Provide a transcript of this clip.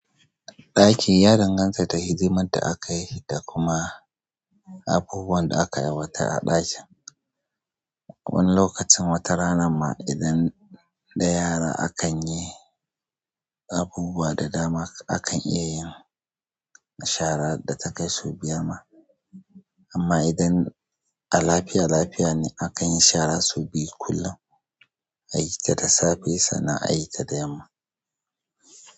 Ɗakin ya danganta da hidimar da aka yi da kuma abubuwan da aka aiwatar a ɗakin. Wani lokacin watarana ma idan da yara akan yi abubuwa da dama akan iya yin shara da takai sau biyar ma. Amma idan a lafiya lafiya ne akan yi shara sau biyu kullum. Ayi ta da safe sana a yi ta da yamma.